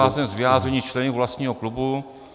Vycházím z vyjádření členů vlastního klubu.